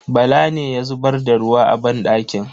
Bala ne ya zubar da ruwa a banɗakin.